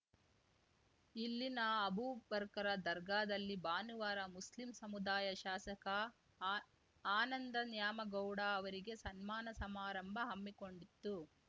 ಇಲ್ಲಿನ ಅಬೂಬ್ ಬರ್ಕರ ದರ್ಗಾದಲ್ಲಿ ಭಾನುವಾರ ಮುಸ್ಲಿಂ ಸಮುದಾಯ ಶಾಸಕ ಆ ಆನಂದ ನ್ಯಾಮಗೌಡ ಅವರಿಗೆ ಸನ್ಮಾನ ಸಮಾರಂಭ ಹಮ್ಮಿಕೊಂಡಿತ್ತು